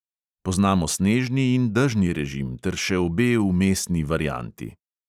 Poznamo snežni in dežni režim ter še obe vmesni varianti.